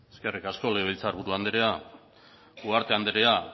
eskerrik asko legebiltzar buru andrea ugarte andrea